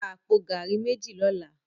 Rá àpó gàrí méji lòlá